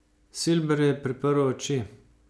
Silber je priprl oči.